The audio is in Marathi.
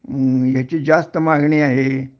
ह्म्म ह्याची जास्त मागणी आहे